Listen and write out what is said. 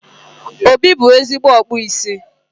Obi bụ ezigbo ọkpụ isi